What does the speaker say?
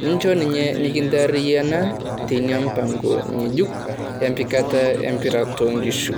Naa echoo ninye mikintariana tenia mupango nyejuuk empikatana e mpira to nkishu.